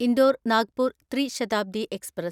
Indore Nagpur Tri Shatabdi express